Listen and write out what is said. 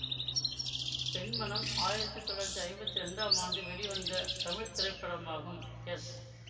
பெண்மனம் ஆயிரத்தி தொள்ளாயிரத்தி ஐம்பத்தி இரண்டாம் ஆண்டு வெளிவந்த தமிழ் திரைப்படமாகும் எஸ்